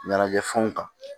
Ɲɛnajɛ fɛnw ta